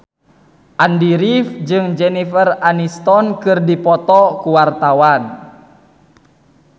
Andy rif jeung Jennifer Aniston keur dipoto ku wartawan